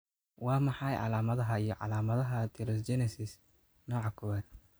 Waa maxay calaamadaha iyo calaamadaha Atelosteogenesis nooca kowad?